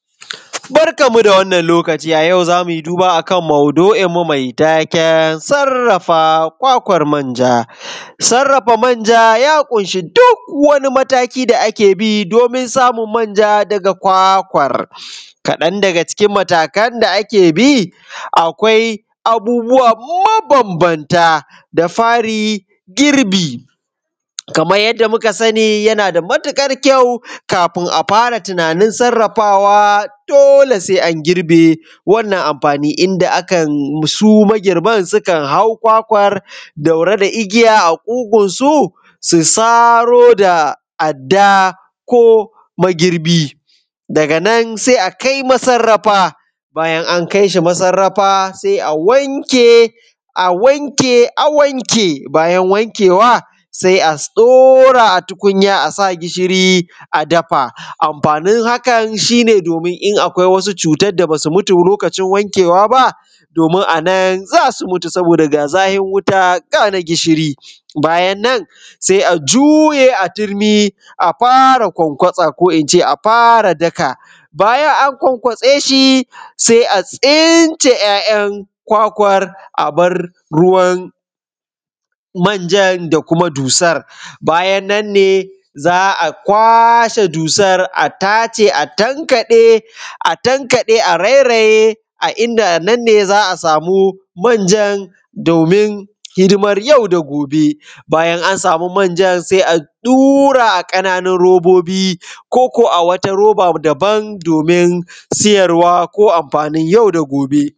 Barkanmu da wannan lokaci a yau zamu yi duba akan madu’inmu mai taken sarrafa kwakwan manjan. Sarrafa manja ya ƙunshi duk wani mataki da ake bi domin samun manja daga kwakwa, kaɗan daga cikin matakan da ake bi akwai abubuwa mabambamta. Da fari girbi, kaman yanda muka sani yana da matuƙar kyau kafin a fara tunanin sarrafawa dole sai an girbe wannan amfani inda akan su magirban sukan hau kwakwar ɗaure da igiya a ƙugunsu, su sari da adda ko magirbi, daga nan sai akai masarrafa, bayan an kai shi massarafa sai a wanke, a wanke, a wanke, bayan wankewa, sai a ɗaura a tukunya asa gishiri a dafa, amfanin hakan shi ne domin in akwai wasu cutan da basu mutu lokacin wankewa ba domin anan za su mutu saboda ga zahin wuta gana gishiri. Bayan nan, sai a juye a turmi a fara ƙwanƙwasa, ko ince a fara daka, bayan an ƙwanƙwatsa shi sai a tsince ‘ya’yan kwakwar abar ruwan manjan da kuma dusar, bayan nan ne za a kwashe dusar, a tace a tankaɗe, a tankaɗe, a rairaye a inda nan ne za a samu manjan domin hidimar yau da gobe, bayan an samu manjan sai a dura a ƙananun robobi, koko a wata roba dabam domin siyarwa ko amfanin yau da gobe.